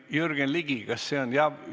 Jürgen Ligi, kas ...?